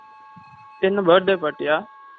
என்ன birthday party யா? ஆ